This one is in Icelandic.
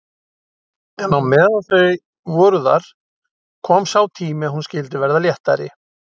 En meðan þau voru þar kom sá tími er hún skyldi verða léttari.